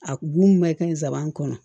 A b'u mɛn kɛ nsaban kɔnɔ